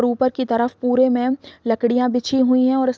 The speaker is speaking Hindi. और ऊपर की तरफ पुरे में लकड़ियां बिछी हुई है और इस --